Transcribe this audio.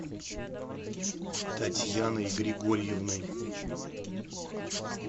татьяной григорьевной